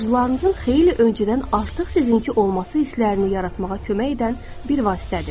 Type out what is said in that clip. Arzularınızın xeyli öncədən artıq sizinki olması hisslərini yaratmağa kömək edən bir vasitədir.